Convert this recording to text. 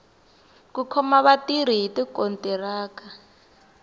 ku khoma vatirhi hi tikontiraka